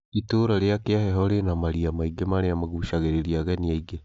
Ĩtũra rĩa Kiaheho rina maria maingĩ marĩa magucagĩrĩria ageni aingĩ